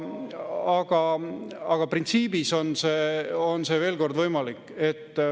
Aga printsiibis on see, veel kord, võimalik.